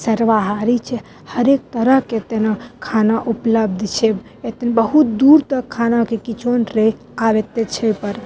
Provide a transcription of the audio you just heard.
सर्वहारि छे हरेक तरह के यहाँ खाना उपलब्ध छे एता न बहुत दूर तक खाना के कीचन रहे आव एते छे ऊपर।